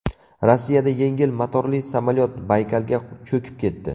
Rossiyada yengil motorli samolyot Baykalga cho‘kib ketdi .